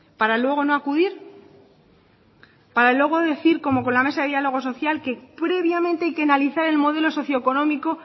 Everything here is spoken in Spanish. para luego no acudir para luego decir como con la mesa de diálogo social que previamente hay que analizar el modelo socio económico